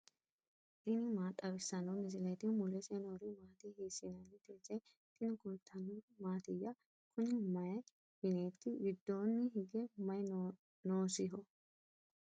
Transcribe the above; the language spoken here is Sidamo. tini maa xawissanno misileeti ? mulese noori maati ? hiissinannite ise ? tini kultannori mattiya? Kunni mayi mineetti? gidoonni hige mayi noosiho?